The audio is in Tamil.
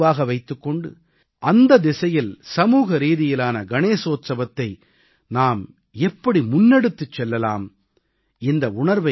திலகரின் உணர்வைக் கருவாக வைத்துக் கொண்டு அந்த திசையில் சமூகரீதியிலான கணேச உற்சவத்தை நாம் எப்படி முன்னெடுத்துச் செல்லலாம்